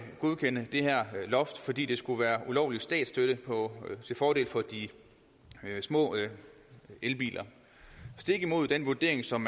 godkende det her loft fordi det skulle være ulovlig statsstøtte til fordel for de små elbiler stik imod den vurdering som